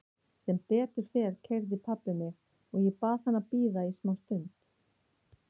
Sem betur fer keyrði pabbi mig og ég bað hann að bíða í smá stund.